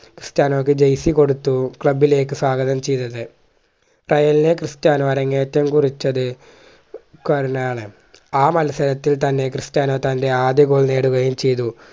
ക്രിസ്റ്റനോയ്ക്ക് jersey കൊടുത്തു club ലേക്ക് സ്വാഗതം ചെയ്തത് റയലിലെ ക്രിസ്ത്യാനോ അരങ്ങേറ്റം കുറിച്ചത് കുരനാണ് ആ മത്സരത്തിൽ തന്നെ ക്രിസ്ത്യാനോ തന്റെ ആദ്യ goal നേടുകയും ചെയ്തു